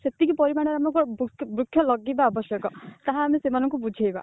ସେତିକି ପରିମାଣରେ ଆମକୁ ବୃକ୍ଷ ବୃକ୍ଷ ଲଗେଇବା ଆବଶ୍ୟକ ତାହା ଆମେ ସେମାନଙ୍କୁ ବୁଝେଇବା